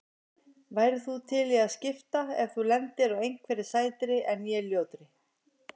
Værir þú til í að skipta ef þú lendir á einhverri sætri en ég ljótri?